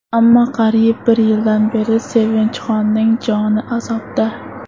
Ammo qariyb bir yildan beri Sevinchxonning joni azobda.